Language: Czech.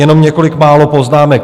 Jenom několik málo poznámek.